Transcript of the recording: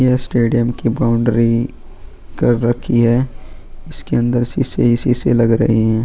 ये स्टेडियम की बाउंड्री कर रखी है इसके अंदर शीशे ही शीशे लग रहे हैं.